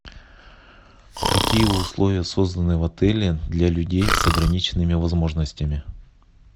какие условия созданы в отеле для людей с ограниченными возможностями